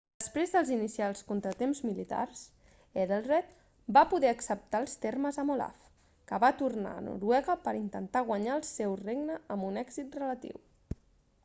després dels inicials contratemps militars ethelred va poder acceptar els termes amb olaf que va tornar a noruega per a intentar guanyar el seu regne amb un èxit relatiu